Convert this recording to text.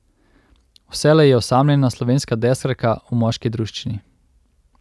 Vselej je osamljena slovenska deskarka v moški druščini.